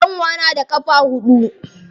Kyanwa na da ƙafa huɗu.